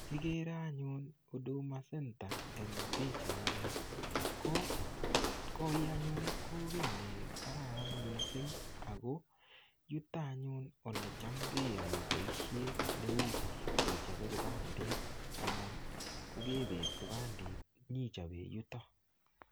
Kigere anyun huduma center eng pichaini. Ko koi anyun, ko kiy ne kararan mising ago yutoanyun olecham keyoe boisiet neu kechope kipandit anan ko kebet kipandit inyechope yuto.